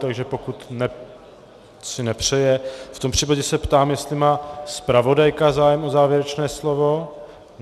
Takže pokud si nepřeje, v tom případě se ptám, jestli má zpravodajka zájem o závěrečné slovo.